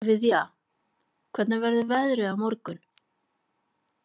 Viðja, hvernig verður veðrið á morgun?